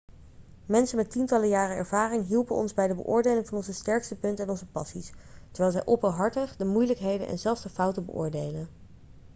mensen met tientallen jaren ervaring hielpen ons bij de beoordeling van onze sterke punten en onze passies terwijl zij openhartig de moeilijkheden en zelfs de fouten beoordeelden